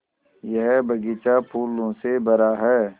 यह बग़ीचा फूलों से भरा है